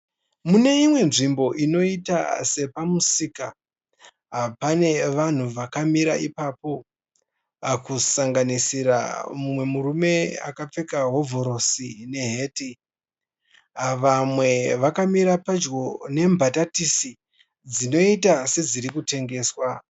Mune imwe nzvimbo inoita sepamusika. Pane vanhu vakamira ipapo, kusanganisira mumwe murume akapfeka hovhorosi neheti. Vamwe vakamira padyo nebhatatisi dzinoita sedziri kutengeswa.